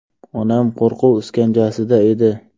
Onam qo‘rquv iskanjasida edi.